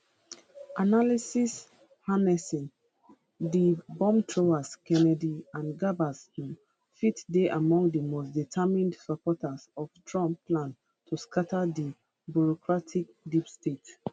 analysis harnessing di bombthrowers kennedy and gabbard um fit dey among di most determined supporters of trump plan to scatta di bureaucratic deep state